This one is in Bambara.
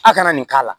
A kana nin k'a la